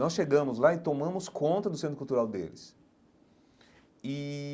Nós chegamos lá e tomamos conta do centro cultural deles e.